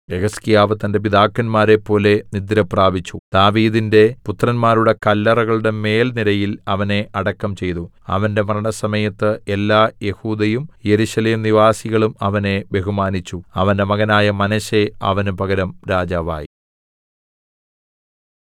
യെഹിസ്കീയാവ് തന്റെ പിതാക്കന്മാരെപ്പോലെ നിദ്രപ്രാപിച്ചു ദാവീദിന്റെ പുത്രന്മാരുടെ കല്ലറകളുടെ മേൽ നിരയിൽ അവനെ അടക്കം ചെയ്തു അവന്റെ മരണസമയത്ത് എല്ലാ യെഹൂദയും യെരൂശലേം നിവാസികളും അവനെ ബഹുമാനിച്ചു അവന്റെ മകനായ മനശ്ശെ അവന് പകരം രാജാവായി